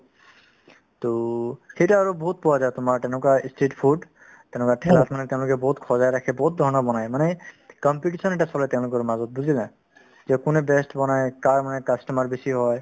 to সেই তাত আৰু বহুত পোৱা যায় তোমাৰ তেনেকুৱা ই street food তেনেকুৱা ঠেলাত মানে তেওঁলোকে বহুত সজাই ৰাখে বহুত ধৰণৰ বনাই মানে competition এটা চলে তেওঁলোকৰ মাজত বুজিলা যে কোনে best বনাই কাৰ মানে customer বেছি হয়